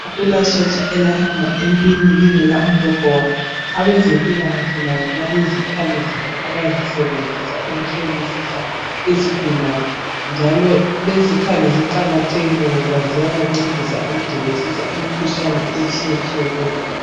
Akulasotsha elahamba empini lingela umbhobho walo. Abezempilakahle labo balezikhali zabo abazibenzisa ukuhlolisisa izigulane. Njalo lezikhali ziqakathekile ngoba ziyabancedisa ukudingisisa imikhuhlane etshiyetshiyeneyo.